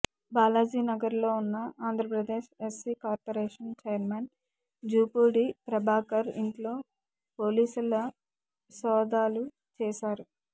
బాలాజీ నగర్ లో ఉన్న Andhra Pradesh SC corporation chairman Jupudi Prabhakar ఇంట్లో పోలీసుల సోదాలు చేశారు